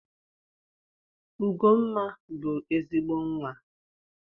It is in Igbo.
Ugomma bụ ezigbo Nwa.